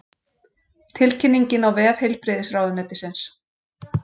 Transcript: Tilkynningin á vef heilbrigðisráðuneytisins